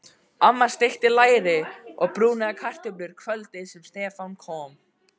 Amma steikti læri og brúnaði kartöflur kvöldið sem Stefán kom.